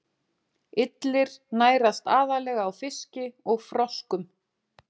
Illir nærast aðallega á fiski og froskum.